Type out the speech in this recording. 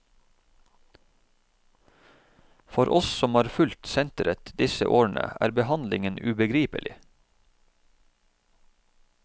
For oss som har fulgt senteret disse årene, er behandlingen ubegripelig.